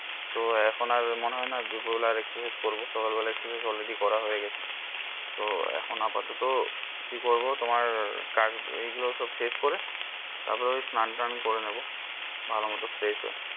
তো এখন আর মনে হয় না দুপুর বেলা আর একটু exercise করবো সকাল বেলা already করা হয়ে গেছে তো এখন আপাতত কি করবো তোমার কাজ এই গুলো সব শেষ করে তারপর এই করে নেবো ভালো মতো fresh হয়ে